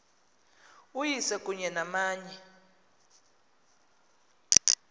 uyise kunye namanye